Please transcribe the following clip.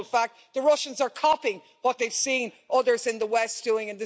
in actual fact the Russians are copying what they've seen others in the West doing.